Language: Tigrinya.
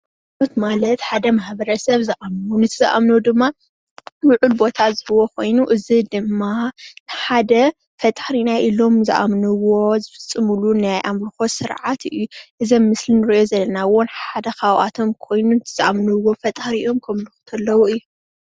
ሃይማኖት ማለት ሓደ ማሕበረሰብ ዝአምኖ ምስ ዝአምኖ ድማ ልዑል ቦታ ዝህቦ ኮይኑ እዚ ድማ ሓደ ፈጣሪና ኢሎም ዝአምንዎ ዝፍፅምሉ ናይ አምልኮ ስርዓት እዩ። እዚ አብ ምስሊ እንሪኦ ዘለና እውን ሓደ ካብአቶም ኮይኑ ንዝአምንዎ ፈጣሪኦም ከምልኩ ከለዉ እዩ።